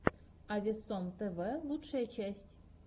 авесом тв лучшая часть